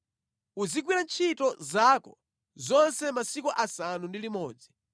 Uzigwira ntchito zako zonse masiku asanu ndi limodzi,